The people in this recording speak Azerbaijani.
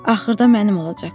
Axırda mənim olacaqsan.